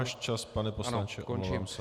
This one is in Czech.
Váš čas, pane poslanče, omlouvám se.